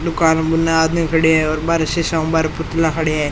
दुकान मे बुन आदमी खड़ा है --